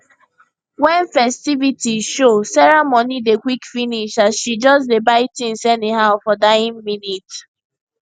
when ffestivities show sarah money dey quick finish as she just dey buy things anyhow for dying minute